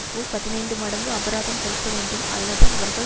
போல் பதினைந்து மடங்கு அபராதம் செலுத்தவேண்டும் அல்லது அவர்கள்